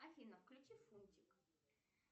афина включи фунтика